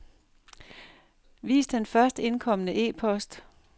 Vis den først indkomne e-post.